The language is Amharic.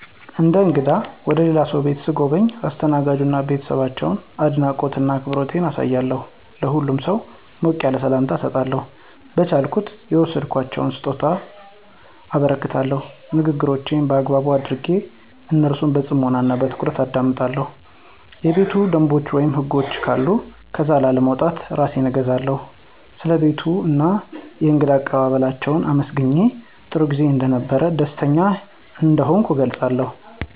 እንደ እንግዳ ወደ ልላ ሰው ቤት ሰጎበኝ ለአስተናጋጁ እና ለቤተሰባቸው አድናቆት እና አክብሮቴን አሳያለሁ። ለሁሉም ሰው ሞቅ ያለ ሰላምታ እሰጣለሁ፣ በቻልኩት የወሰድኩላቸውን ሰጦታ አበረክታለሁ፣ ንግግሮቼን በአግባብ አደረጌ እነሱን በፅሞና እና በትኩረት አደምጣለሁ፣ የቤት ደንቦችን ወይም ህጎች ካሉ ከዛ ላለመውጣት እራሴን እገዛለሁ። ስለ ቤቱ እና የእንግዳ አቀባበላችው አመሰግኘ ጥሩጊዜ እንደነበረ ደስተኛ እንደሆንኩ እገለፅላችዋለሁ።